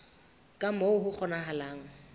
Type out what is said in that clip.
ka moo ho kgonahalang ka